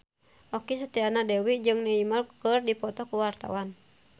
Okky Setiana Dewi jeung Neymar keur dipoto ku wartawan